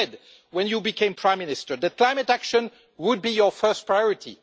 You said when you became Prime Minister that climate action would be your first priority.